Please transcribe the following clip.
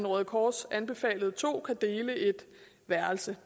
røde kors anbefalede to kan dele et værelse